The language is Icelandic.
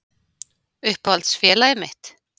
Uppáhalds félagið mitt?